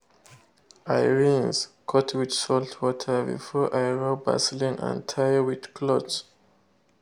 i rinse cut with salt water before i rub vaseline and tie with cloth.